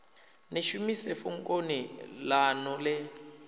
ḽi shumise fhungoni ḽaṋu ḽe